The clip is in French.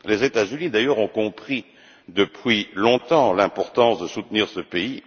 Les États Unis, d'ailleurs, ont compris depuis longtemps l'importance de soutenir ce pays.